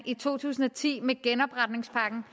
i to tusind og ti med genopretningspakken